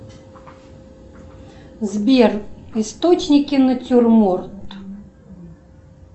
сбер источники натюрморт